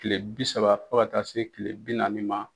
Kile bi saba fɔ ka taa se kile bi naani ma.